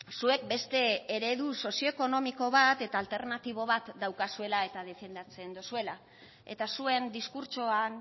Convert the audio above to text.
zuek beste eredu sozioekonomiko bat eta alternatibo bat daukazuela eta defendatzen dozuela eta zuen diskurtsoan